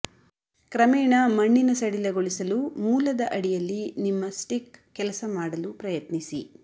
ಕ್ರಮೇಣ ಮಣ್ಣಿನ ಸಡಿಲಗೊಳಿಸಲು ಮೂಲದ ಅಡಿಯಲ್ಲಿ ನಿಮ್ಮ ಸ್ಟಿಕ್ ಕೆಲಸ ಮಾಡಲು ಪ್ರಯತ್ನಿಸಿ